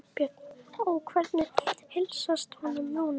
Björn: Og hvernig heilsast honum núna?